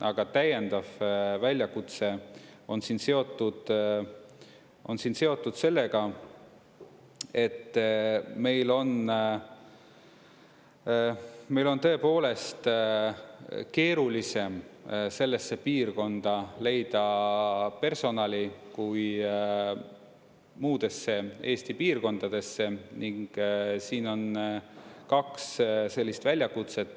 Aga täiendav väljakutse on siin seotud sellega, et meil on tõepoolest keerulisem sellesse piirkonda leida personali kui muudesse Eesti piirkondadesse, ning siin on kaks sellist väljakutset.